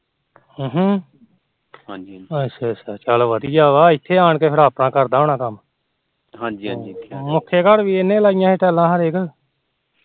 ਅੱਛਾ ਅੱਛਾ ਚੱਲ ਵਧੀਆਂ ਆ ਇਤੇ ਆਣ ਕੇ ਆਪਣਾ ਕਰਦਾ ਹੋਣਾ ਕੰਮ ਹਾਜੀ ਹਾਜੀ ਮੁਖੇ ਘਰ ਵੀ ਇਹਨੇ ਲਾਈਆਂ ਟੈਲਾ